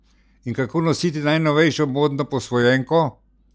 In kako nositi najnovejšo modno posvojenko?